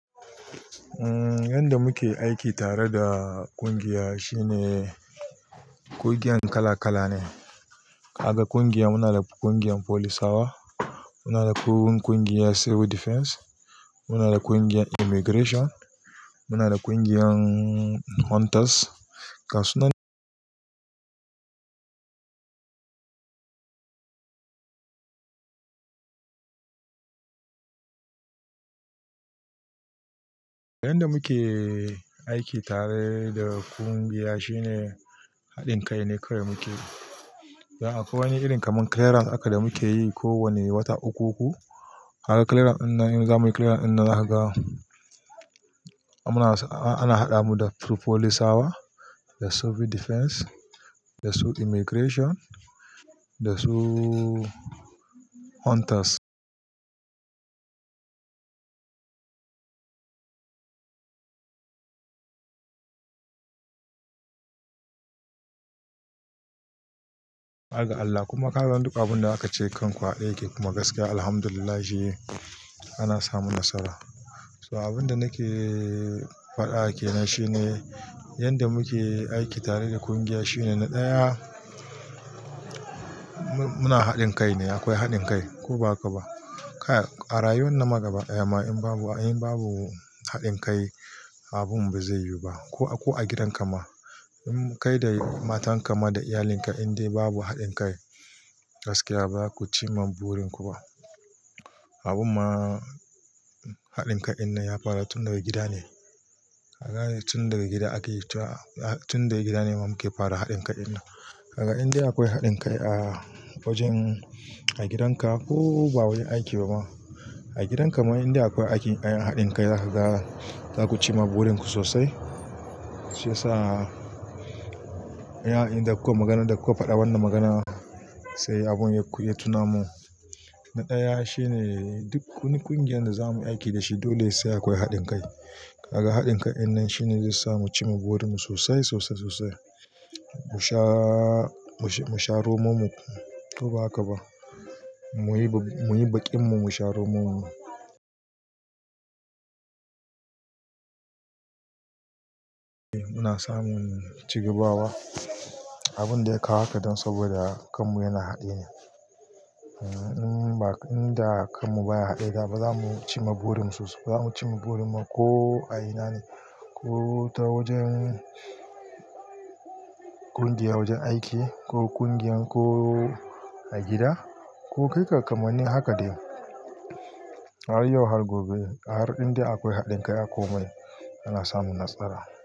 Yanda muke aiki tare da kungiya shine kungiyan kala-kala ne. Aga kungiya muna da kungiyar polisawa, muna da kungiyar Civil Defense, muna da kungiyar Immigration, muna da kungiyan Hunters. Gasunan yanda muke aiki tare da kungiya shine haɗin kai ne kawai muke. Akwai wani irin kaman clearance haka da muke yi kowane wata uku uku. Har clearance dinnan, in zamuyi clearance dinnan zakaga ana haɗa mu da through polisawa, da Civil Defense, da su Immigration, da su Hunters. Har ga Allah kuma ka ga duk abun da aka ce kan ku hade yake kuma gaskiya Alhamdulillahi ana samun nasara. So abun da nake faɗa ake nan shine yanda muke aiki tare da kungiya shine na ɗaya muna haɗin kai ne akwai haɗin kai ko ba haka ba. A rayuwar na magaba, eh ma in babu, in babu haɗin kai abun bai zai yiwu ba ko, ko a gidan ka ma. In kai da matan ka ma da iyalinka indai babu haɗin kai gaskiya ba ku ci ma burin ku ba. Abun ma haɗin kai dinnan ya fara tun daga gida ne. Ka gane tun daga gida ake yi ta, tun daga gida ne mamuke fara haɗin kai dinnan. Aga indai akwai haɗin kai a wajen, a gidan ka ko ba wurin aiki ba ma. A gidan ka ma indai akwai aiki, haɗin kai zaka ga, zaku ci ma burin ku sosai. Shi yasa yana, inda kowa maganar da kuka faɗa wannan magana sai abun ya tuna mu. Na ɗaya shine duk kungiyar da zamu yi aiki da shi dole sai akwai haɗin kai. Kaga haɗin kai dinnan shine zai sa mu ci ma burin mu sosai, sosai, sosai. Mu sha, mu sha romon mu ko ba haka ba. Muyi, muyi baƙin mu, mu sha romon mu. Muna samun cigabawa. Abun da ya kawo haka dan saboda kan mu yana haɗe ne. In ba, inda kan mu baya haɗe da ba za mu ci ma burin mu sosai. Ba za mu ci ma burin mu ko a ina ne, ko ta wajen kungiya wajen aiki ko kungiyan ko a gida ko kai kamar ni haka dai. Har yau har gobe har indai akwai haɗin kai a komai ana samun nasara.